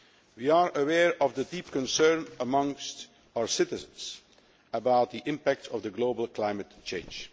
We are aware of the deep concern amongst our citizens about the impact of the global climate change.